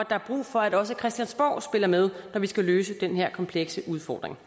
er brug for at også christiansborg spiller med når vi skal løse den her komplekse udfordring